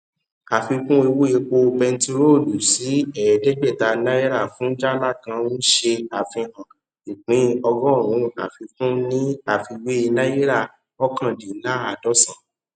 àfikún owó epo bentiroolu sí ẹẹdẹgbẹta náírà fun jálá kan nṣe àfihàn ìpín ọgọrùn àfikún ní àfiwé náírà mọkàndinlaadọsan